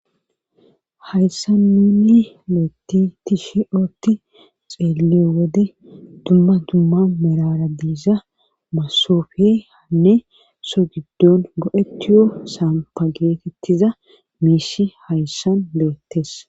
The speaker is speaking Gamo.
Hayssanninni loetti tishe ootti xeeliyo wode dumma dumma mirara diisa masofe hanne so giddon go'tiyo sampa geetettiza miishi hayssan le7ettes.